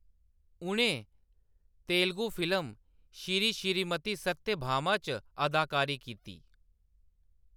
उʼनें तेलुगु फिल्म श्री श्रीमती सत्यभामा च अदाकारी कीती।